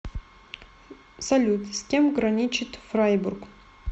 салют с кем граничит фрайбург